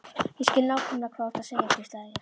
Ég skil nákvæmlega hvað þú ert að segja hvíslaði ég.